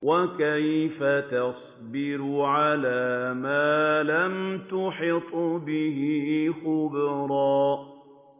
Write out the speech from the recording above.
وَكَيْفَ تَصْبِرُ عَلَىٰ مَا لَمْ تُحِطْ بِهِ خُبْرًا